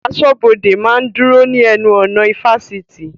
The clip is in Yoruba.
Aṣọ́bọdè máa ń dúró ní ẹnu ọ̀nà ifásitì